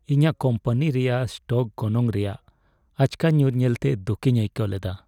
ᱤᱧᱟᱹᱜ ᱠᱳᱢᱯᱟᱱᱤ ᱨᱮᱭᱟᱜ ᱥᱴᱚᱠ ᱜᱚᱱᱚᱝ ᱨᱮᱭᱟᱜ ᱟᱪᱠᱟ ᱧᱩᱨ ᱞᱮᱱᱛᱮ ᱫᱩᱠᱤᱧ ᱟᱹᱭᱠᱟᱹᱣ ᱞᱮᱫᱟ ᱾